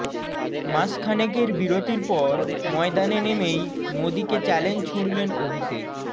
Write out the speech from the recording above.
মাসখানেকের বিরতির পর ময়দানে নেমেই মোদীকে চ্যালেঞ্জ ছুড়লেন অভিষেক